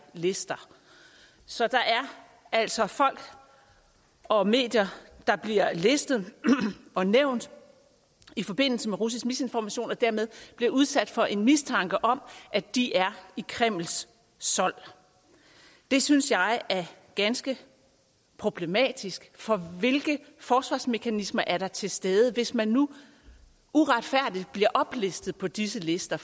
lister så der er altså folk og medier der bliver listet og nævnt i forbindelse med russisk misinformation og dermed bliver udsat for en mistanke om at de er i kremls sold det synes jeg er ganske problematisk for hvilke forsvarsmekanismer er der til stede hvis man nu uretfærdigt bliver oplistet på disse lister